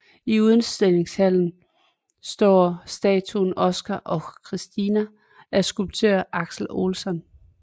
I udstillingshallen står statuen Oskar och Kristina af skulptøren Axel Olsson